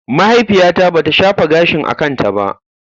Mahaifiyata bata shafa gashin a kanta ba.